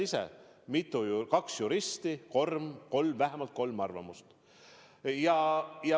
Sa tead ise: kaks juristi, vähemalt kolm arvamust.